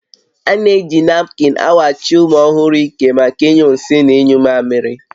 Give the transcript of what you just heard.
A na-eji napkịn awachi ụmụ ọhụrụ ike maka ịnyụ nsị na ịnyụ mmamịrị